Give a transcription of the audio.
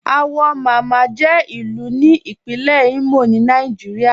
Awọ Máma jẹ̀ ilu ni Ìpínlẹ̀ Imo ni Nàìjíríà.